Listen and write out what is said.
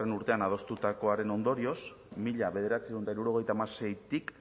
urtean adostutakoaren ondorioz mila bederatziehun eta hirurogeita hamaseitik